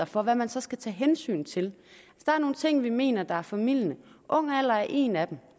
for hvad man så skal tage hensyn til der er nogle ting vi mener er formildende ung alder er en af dem